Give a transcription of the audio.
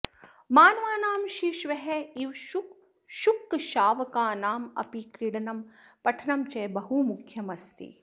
मानवानां शिशवः इव शुकशावकानाम् अपि क्रीडनं पठनं च बहु मुख्यम् अस्ति